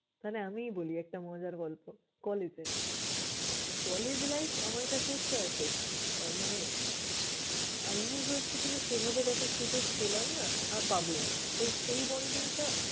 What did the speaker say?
তাইলে আমিই বলি একটা মজার গল্প! College এর, college life আমার কাছে হচ্ছে asset আহ মানে university তো সেভাবে দেখার সুযোগ পেলাম না, আর পাবোও না। তো সেই bonding টা